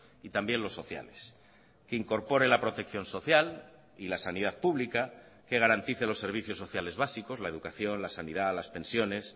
y también los sociales que incorpore la protección social y la sanidad pública que garantice los servicios sociales básicos la educación la sanidad las pensiones